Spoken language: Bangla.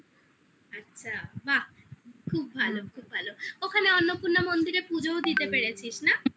আচ্ছা বাহ খুব ভালো খুব ভালো ওখানে অন্নপূর্ণা মন্দিরে পুজোও দিতে পেরেছিস না